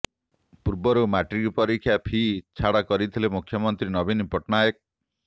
ପୂର୍ବରୁ ମାଟ୍ରିକ ପରୀକ୍ଷା ଫି ଛାଡ଼ କରିଥିଲେ ମୁଖ୍ୟମନ୍ତ୍ରୀ ନବୀନ ପଟ୍ଟନାୟକ